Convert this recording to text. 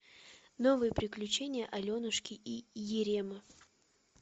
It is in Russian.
новые приключения аленушки и еремы